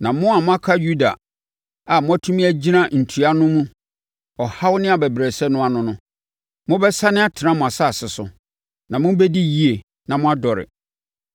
Na mo a moaka Yuda a moatumi agyina ntua no mu ɔhaw ne abɛbrɛsɛ no ano no, mobɛsane atena mo asase so, na mobɛdi yie na moadɔre.